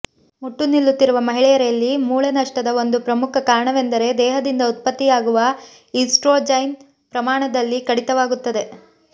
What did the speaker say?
ಮುಟ್ಟು ನಿಲ್ಲುತ್ತಿರುವ ಮಹಿಳೆಯರಲ್ಲಿ ಮೂಳೆ ನಷ್ಟದ ಒಂದು ಪ್ರಮುಖ ಕಾರಣವೆಂದರೆ ದೇಹದಿಂದ ಉತ್ಪತ್ತಿಯಾಗುವ ಈಸ್ಟ್ರೊಜೆನ್ ಪ್ರಮಾಣದಲ್ಲಿ ಕಡಿತವಾಗುತ್ತದೆ